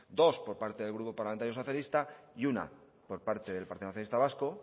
dos por parte del grupo parlamentario socialista y una por parte del partido nacionalista vasco